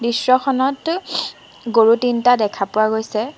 দৃশ্যখনত গৰু তিনিটা দেখা পোৱা গৈছে।